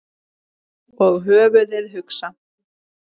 Og höfuðið hugsa?